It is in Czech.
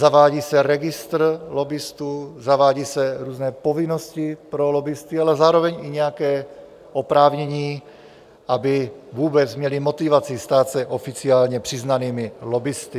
Zavádí se registr lobbistů, zavádí se různé povinnosti pro lobbisty, ale zároveň i nějaká oprávnění, aby vůbec měli motivaci stát se oficiálně přiznanými lobbisty.